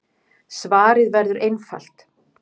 Svarið verður einfalt.